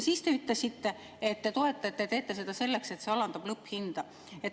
Teie ütlesite, et te toetate ja teete seda selleks, et see alandab lõpphinda.